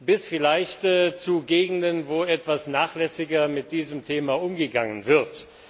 bis vielleicht zu Gegenden, wo etwas nachlässiger mit diesem Thema umgegangen wird.